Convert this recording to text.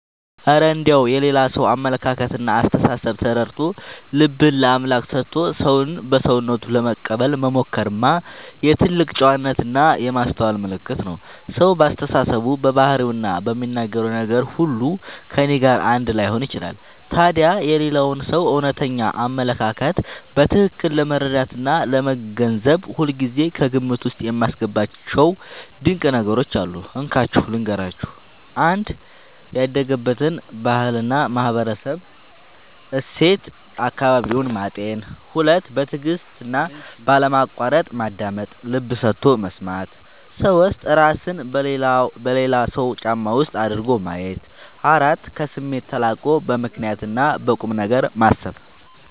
እረ እንደው የሌላ ሰውን አመለካከትና አስተሳሰብ ተረድቶ፣ ልብን ለአምላክ ሰጥቶ ሰውን በሰውነቱ ለመቀበል መሞከርማ የትልቅ ጨዋነትና የማስተዋል ምልክት ነው! ሰው በአስተሳሰቡ፣ በባህሪውና በሚናገረው ነገር ሁሉ ከእኔ ጋር አንድ ላይሆን ይችላል። ታዲያ የሌላውን ሰው እውነተኛ አመለካከት በትክክል ለመረዳትና ለመገንዘብ ሁልጊዜ ከግምት ውስጥ የማስገባቸው ድንቅ ነገሮች አሉ፤ እንካችሁ ልንገራችሁ - 1. ያደገበትን ባህልና ማህበራዊ እሴት (አካባቢውን) ማጤን 2. በትዕግስትና ባለማቋረጥ ማዳመጥ (ልብ ሰጥቶ መስማት) 3. እራስን በሌላው ሰው ጫማ ውስጥ አድርጎ ማየት 4. ከስሜት ተላቆ በምክንያትና በቁምነገር ማሰብ